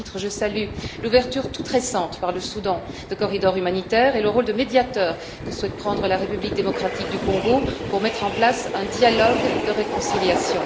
À ce titre, je salue l'ouverture toute récente par le Soudan de corridors humanitaires et le rôle de médiateur que souhaite prendre la République démocratique du Congo pour mettre en place un dialogue de réconciliation.